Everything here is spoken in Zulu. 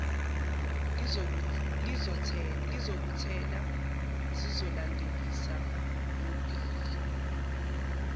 lizokuthela ngizolandelisa ngobhili